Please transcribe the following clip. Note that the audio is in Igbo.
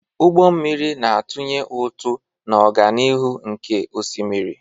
Ụgbọ mmiri na-atụnye ụtụ na ọganihu n'oké osimiri.